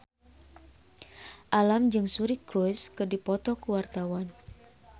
Alam jeung Suri Cruise keur dipoto ku wartawan